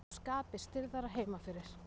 Og skapið stirðara heima fyrir.